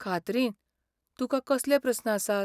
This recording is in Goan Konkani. खात्रीन, तुकां कसले प्रस्न आसात?